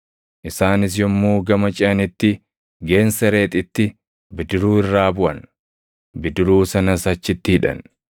Isaanis yommuu gama ceʼanitti Geensereexitti bidiruu irraa buʼan; bidiruu sanas achitti hidhan.